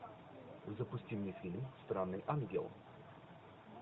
запусти мне фильм странный ангел